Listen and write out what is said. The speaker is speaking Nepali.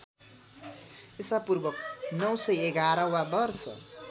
ईपू ९११ वा वर्ष